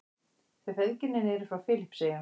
Þau feðginin eru frá Filippseyjum.